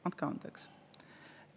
Andke andeks!